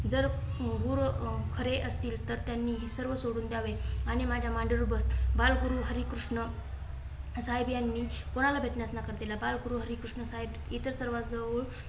जर गुरु अं खरे असतील. तर त्यांनी सर्व सोडून द्यावे आणि माझ्या मांडीवर बस. बाल गुरु हरिकृष्णसाहेब यांनी कोणाला भेटण्यास नकार दिला? बाळगुरु हरिकृष्ण साहेब इतर सर्वां जवळ